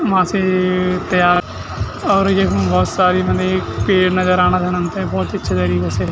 मासे ए ए त्यार और यखम भोत सारी पेड़ नजर आणा हमथे भोत अच्छे तरीके से --